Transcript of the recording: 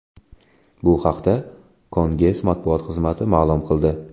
Bu haqda Kenges matbuot xizmati ma’lum qildi .